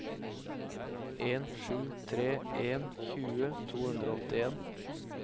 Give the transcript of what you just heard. en sju tre en tjue to hundre og åttien